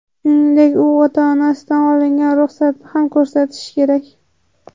Shuningdek, u ota-onasidan olingan ruxsatni ham ko‘rsatishi kerak.